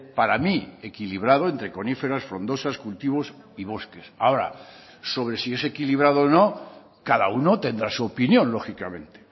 para mí equilibrado entre coníferas frondosas cultivos y bosques ahora sobre si es equilibrado o no cada uno tendrá su opinión lógicamente